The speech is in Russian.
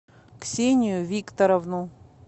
ксению викторовну